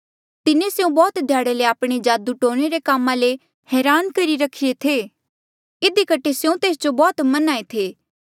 तिन्हें स्यों बौह्त ध्याड़े ले आपणे जादू टोणे रे कामा ले हरान करी रखिरे था इधी कठे स्यों तेस जो बौह्त मन्हां ऐें थे